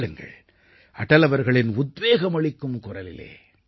கேளுங்கள் அடல் அவர்களின் உத்வேகமளிக்கும் குரலிலே